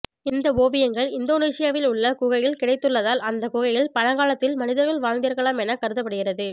இந்த ஓவியங்கள் இந்தோனேஷியாவில் உள்ள குகையில் கிடைத்துள்ளதால் அந்த குகையில் பழங்காலத்தில் மனிதர்கள் வாழ்ந்திருக்கலாம் என கருதப்படுகிறது